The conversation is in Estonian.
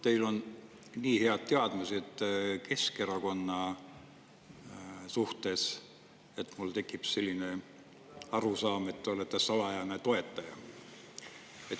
Teil on nii head teadmised Keskerakonnast, et mul tekib arusaam, et te olete salajane toetaja.